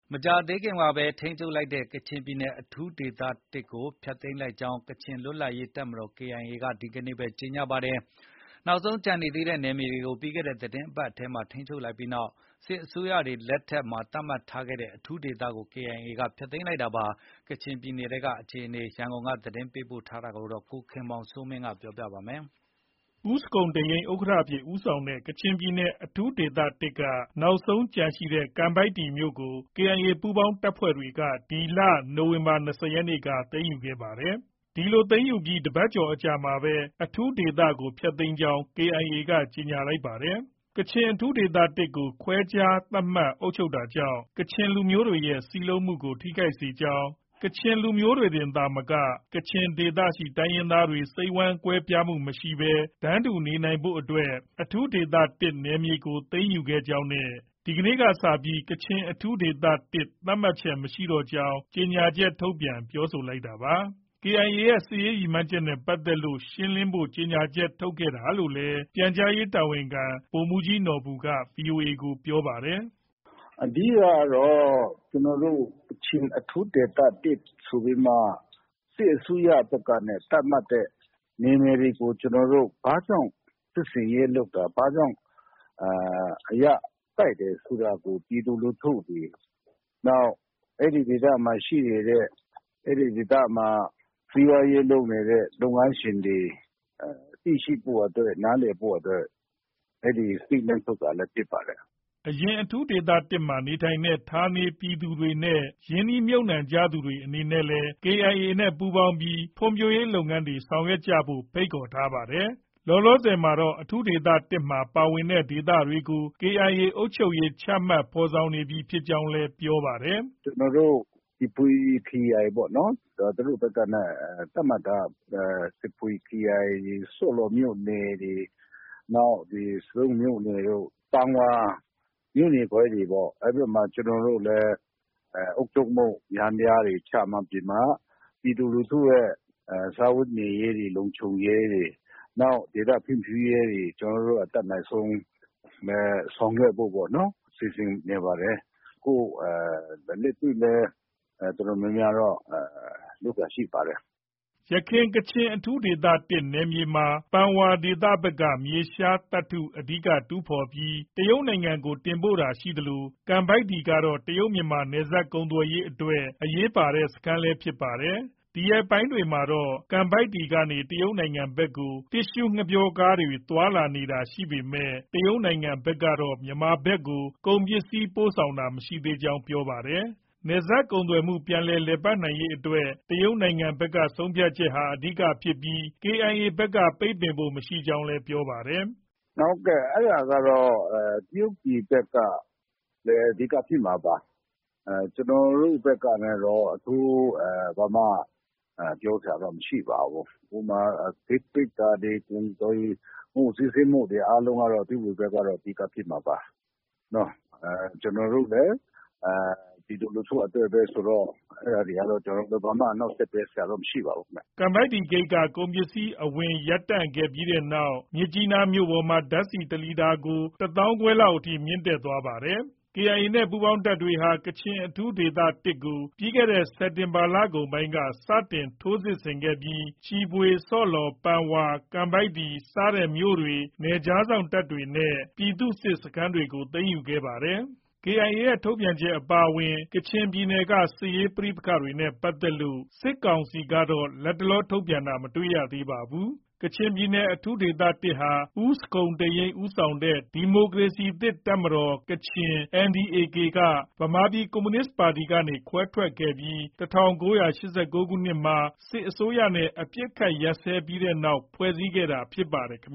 မကြာသေးခင်ကပဲထိန်းချုပ်လိုက်တဲ့ ကချင်ပြည်နယ် အထူးဒေသ (၁) ကို ဖျက်သိမ်းလိုက်ကြောင်း ကချင်လွတ်လပ်ရေးတပ်မတော် KIA က ဒီကနေ့ပဲ ကြေညာလိုက်ပါတယ်။ နောက်ဆုံးကျန်နေသေးတဲ့ နယ်မြေကို ပြီးခဲ့တဲ့သီတင်းပတ်ထဲမှာပဲ ထိန်းချုပ်လိုက်ပြီးနောက် စစ်အစိုးရတွေလက်ထက်မှာ သတ်မှတ်ခဲ့တဲ့အထူးဒေသကို KIA ကဖျက်သိမ်းလိုက်တာပါ။ ကချင်ပြည်နယ် စစ်ရေး အခြေအနေ ရန်ကုန်က သတင်းပေးပို့ ထားတာကို ကိုခင်မောင်စိုးမင်းတင်ပြထားပါတယ်။ ဦးဇခုန်တိန့်ယိန်း ဥက္ကဋ္ဌအဖြစ် ဦးဆောင်တဲ့ ကချင်ပြည်နယ် အထူးဒေသ (၁) က နောက်ဆုံးကျန်ရှိနေတဲ့ ကန်ပိုက်တီ ( ကံပိုင်တည်) မြို့ကို KIA ပူးပေါင်းတပ်ဖွဲ့တွေက ဒီလ ၂၀ ရက်နေ့က သိမ်းယူခဲ့တာပါ။ ဒီလို သိမ်းယူပြီး တပတ်ကျော်အကြာမှာပဲ အထူးဒေသကို ဖျက် သိမ်းကြောင်း KIA ကြေညာလိုက်တာ ဖြစ်ပါတယ်။ ‘ကချင် အထူးဒေသ (၁) ကို ခွဲခြားသတ်မှတ် အုပ်ချုပ်တာကြောင့် ကချင်လူမျိုးတွေရဲ့ စည်းလုံးမှုကို ထိခိုက်စေကြောင်း၊ ကချင်လူမျိုးသာမက ကချင်ဒေသရှိ တိုင်းရင်းသားတွေ စိတ်ဝမ်းကွဲမှုမရှိဘဲ တန်းတူနေထိုင်နိုင်ဖို့ အထူးဒေသ(၁) နယ်မြေကိုရယူခဲ့ကြောင်းနဲ့ ယနေ့မှစပြီး ကချင်အထူးဒေသ (၁) သတ်မှတ်ချက် မရှိတော့ကြောင်း‘ ကြေညာချက်ထုတ်ပြန် ပြောဆိုလိုက်တာပါ။ KIA ရဲ့ စစ်ရေးရည်မှန်းချက်နဲ့ ပတ်သက်လို့ ရှင်းလင်းဖို့ ကြေညာချက်ထုတ်ခဲ့တာလို့လည်း ပြန်ကြားရေးတာဝန်ခံ ဗိုလ်မှူးကြီးနော်ဘူက ဗွီအိုအေကို ပြောပါတယ်။ “အဓိကကတော့ ကျနော်တို့ ကချင် အထူးဒေသ (၁) ဆိုပြီးမှ စစ်အစိုးရဘက်ကနဲ့ သတ်မှတ်တဲ့ နယ်မြေတွေကို ကျနော်တို့ ဘာကြောင့် စစ်ဆင်ရေးလုပ်တာ၊ ဘာကြောင့် အရတိုက်တယ်ဆိုတာ ပြည်သူလူထုတွေ နောက် အဲဒီဒေသမှာ ရှိနေတဲ့၊ အဲဒီဒေသမှာ စီးပွားရေးလုပ်နေတဲ့ လုပ်ငန်းရှင်တွေ၊ သိရှိဖို့အတွက် နားလည်ဖို့အတွက် အဲဒီ Statement ထုတ်တာလည်း ဖြစ်ပါတယ်။ ” အရင် အထူးဒေသ (၁) မှာ နေထိုင်တဲ့ဌာနေ ပြည်သူတွေနဲ့ ရင်းနှီးမြှုပ်နှံသူတွေအနေနဲ့လည်း KIA နဲ့ ပူးပေါင်းပြီး ဖွံ့ဖြိုးရေးလုပ်ငန်းတွေ ဆောင်ရွက်ဖို့လည်း ဖိတ်ခေါ်ထားပါတယ်။ လောလောဆယ်မှာတော့ အထူးဒေသ (၁) မှာ ပါဝင်တဲ့ ဒေသတွေကို KIA အုပ်ချုပ်ရေး ချမှတ်ဖော်ဆောင်နေပြီဖြစ်ကြောင်းလည်း ပြောပါတယ်။ “ကျနော်တို့ ချီဖွေ ခရိုင်ပေါ့နော်။ သူတို့ဘက်ကနဲ့ သတ်မှတ်ထားတာ ချီဖွေခရိုင်၊ ဆော့လော်မြို့နယ်တွေ၊ နောက် ဆဒုံးမြို့နယ်တို့၊ ပန်ဝါ မြို့နယ်ခွဲတွေပေါ့။ အဲဒီဘက်မှာ ကျနော်တို့လည်း အုပ်ချုပ်မှုယန္တရားတွေ ချမှတ်ပြီးမှ ပြည်သူလူထုရဲ့စားဝတ်နေရေးတွေ၊ လုံခြုံရေးတွေ၊ နောက် ဒေသဖွံ့ဖြိုးရေးတွေ ကျနော်တို့ အတတ်နိုင်ဆုံး ဆောင်ရွက်ဖို့ပေါ့နော်၊ စီစဉ်နေပါတယ်။ ခု လက်တွေ့လည်း တော်တော်များများတော့ လုပ်တာ ရှိပါတယ်။” ယခင် ကချင်အထူးဒေသ (၁) နယ်မြေမှာ ပန်ဝါဒေသဘက်က မြေရှားသတ္တုအဓိက တူးဖော်ပြီး တရုတ်နိုင်ငံကို တင်ပို့တာရှိသလို ကန်ပိုက်တီကတော့ တရုတ်-မြန်မာ နယ်စပ်ကုန်သွယ်ရေးအတွက် အရေးပါတဲ့ စခန်းလည်း ဖြစ်ပါတယ်။ ဒီရက်ပိုင်းတွေမှာတော့ ကန်ပိုက်တီကနေ တရုတ်နိုင်ငံဘက်ကို တစ်သျှူးငှက်ပျောတင်တဲ့ကားတွေ သွားလာတာရှိနေပေမဲ့တရုတ်နိုင်ငံဘက်ကတော့ မြန်မာဘက်ကို ကုန်ပစ္စည်းပို့ဆောင်တာ မရှိသေးကြောင်းလည်း ပြောပါတယ်။ နယ်စပ်ကုန်သွယ်မှု ပြန်လည် လည်ပတ်နိုင်ရေးအတွက် တရုတ်နိုင်ငံဘက် ဆုံးဖြတ်ချက်ဟာ အဓိက ဖြစ်ပြီး KIA ဘက်က ပိတ်ပင်ဖို့ မရှိကြောင်းလည်း ပြောပါတယ်။ “ဟုတ်ကဲ့။ အဲဒါကတော့ တရုတ်ဘက်က အဓိက ဖြစ်မှာပါ။ ကျနော်တို့ ဘက်ကနဲ့တော့ အထူး ဘာမှ ပြောစရာတော့ မရှိပါဘူး။ ဥပမာ ဂိတ်ပိတ်တာတွေ၊ ကုန်သွယ်မှု အားလုံးစီးဆင်းမှုကတော့ တရုတ်ပြည်ဘက်က အဓိကဖြစ်မှာပါ။ ကျနော်တို့လည်း ပြည်သူလူထုအတွက်ပဲဆိုတော့ အဲဒါတွေကတော့ ကျနော်တို့ ဘာမှ အနှောင့်အယှက်ပေးစရာတော့ မရှိပါဘူးခင်ဗျ။ ” ကန်ပိုက်တီဂိတ်က ကုန်ပစ္စည်းအဝင်ရပ်တန့်ခဲ့တဲ့နောက် မြစ်ကြီးနားမြို့ပေါ်မှာ ဓါတ်ဆီ တလီတာကို တသောင်းခွဲလောက်အထိ မြင့်တက်လာနေပါတယ်။ KIA နဲ့ ပူးပေါင်းတပ်တွေဟာ ကချင်အထူးဒေသ (၁) ကို စက်တင်ဘာလကုန်ပိုင်းမှာ စတင် ထိုးစစ်ဆင်ခဲ့ပြီး ချီဖွေ၊ ဆော့လော်၊ ပန်ဝါ ၊ ကန်ပိုက်တီ စတဲ့မြို့တွေ၊ နယ်ခြားစောင့်တပ်တွေနဲ့ ပြည်သူ့စစ်စခန်းတွေကို သိမ်းယူခဲ့တာဖြစ်ပါတယ်။KIA ရဲ့ ထုတ်ပြန်ချက် အပါအဝင် ကချင်ပြည်နယ်က စစ်ရေးပဋိပက္ခတွေနဲ့ ပတ်သက်လို့ စစ်ကောင်စီကတော့လတ်တလော သတင်းထုတ်ပြန်တာ မတွေ့ရသေးပါဘူး။ ကချင်ပြည်နယ် အထူးဒေသ (၁) ဟာ ဦးဇခုန်တိန့်ယိန်းဦးဆောင်တဲ့ ဒီမိုကရေစီသစ်တပ်မတော်- ကချင် NDA-K ကဗမာပြည်ကွန်မြူနစ်ပါတီကခွဲထွက်ခဲ့ပြီး ၁၉၈၉ ခုနှစ်မှာ စစ်အစိုးရနဲ့ အပစ်အခတ် ရပ်စဲပြီးနောက် ဖွဲ့စည်းခဲ့တာဖြစ်ပါတယ်။ ‘ကချင်